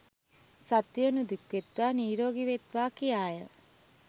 සත්වයෝ නිදුක් වෙත්වා නීරෝගී වෙත්වා කියාය.